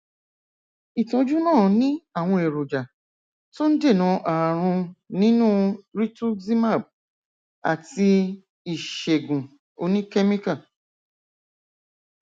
ìtọjú náà ní àwọn èròjà tó ń dènà ààrùn nínú rituximab àti ìṣègùn oníkẹmíkà